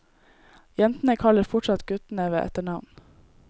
Jentene kaller fortsatt guttene ved etternavn.